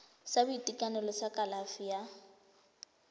sa boitekanelo sa kalafi ya